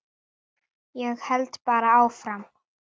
Ég held bara áfram.